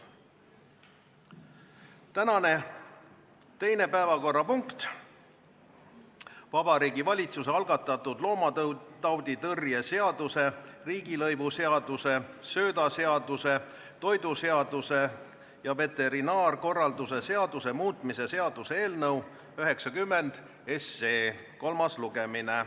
Tänane teine päevakorrapunkt on Vabariigi Valitsuse algatatud loomatauditõrje seaduse, riigilõivuseaduse, söödaseaduse, toiduseaduse ja veterinaarkorralduse seaduse muutmise seaduse eelnõu 90 kolmas lugemine.